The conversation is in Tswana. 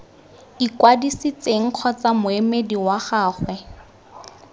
ikwadisitseng kgotsa moemedi wa gagwe